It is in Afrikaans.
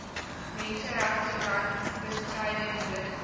menseregte brandbestryding noodhulp